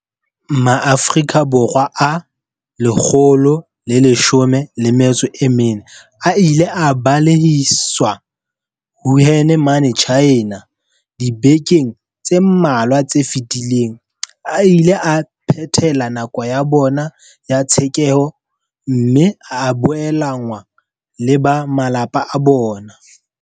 Maafrika Borwa a 114 a ileng a balehiswa Wuhan mane China dibekeng tse mmalwa tse fetileng a ile a phethela nako ya bona ya tshekeho mme a boelanngwa le ba malapa a bona.